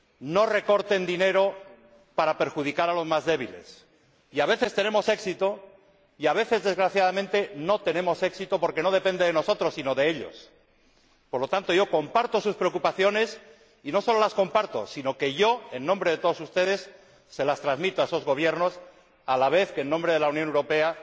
no recorten dinero para perjudicar a los más débiles. A veces tenemos éxito y, a veces, desgraciadamente, no tenemos éxito, porque no depende de nosotros, sino de ellos. Por lo tanto, yo comparto sus preocupaciones, y no sólo las comparto, sino que, en nombre de todos ustedes, se las transmito a esos gobiernos, a la vez que, en nombre de la Unión Europea,